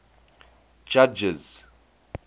judges